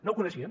no ho coneixien